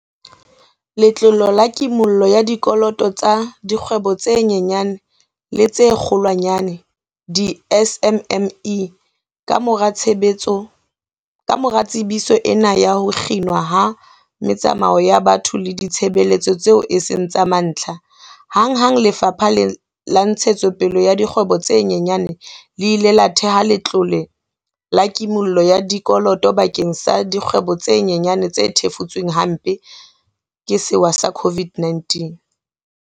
Letlole la Kimollo ya Dikoloto tsa Dikgwebo tse Nyenyane le tse Kgolwanyane, di-SMME, Kamora tsebiso ena ya ho kginwa ha metsamao ya batho le ditshebeletso tseo e seng tsa mantlha, hanghang Lefapha la Ntshetsopele ya Dikgwebo tse Nyenyane le ile la thea letlole la ki-mollo ya dikoloto bakeng sa dikgwebo tse nyenyane tse thefutsweng hampe ke sewa sena sa COVID-19.